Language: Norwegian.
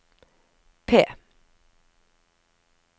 P